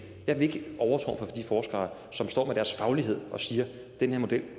jeg vil ikke overtrumfe de forskere som står med deres faglighed og siger denne model